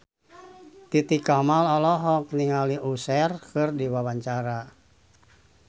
Titi Kamal olohok ningali Usher keur diwawancara